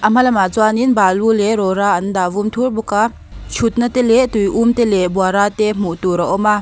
a hma lam ah chuanin balu leh rawra an dah vum thur bawk a thutna te leh tui um te leh buara te hmuh tur a awm a.